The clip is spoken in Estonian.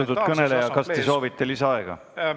Austatud kõneleja, kas te soovite lisaaega?